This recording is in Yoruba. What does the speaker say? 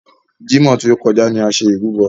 Jímọ̀ tí o kọjá ni a ṣe ìrúbọ.